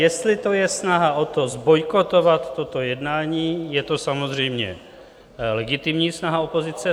Jestli je to snaha o to, zbojkovat toto jednání, je to samozřejmě legitimní snaha opozice.